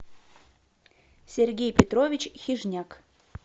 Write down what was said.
сергей петрович хижняк